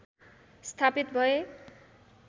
स्थापित भए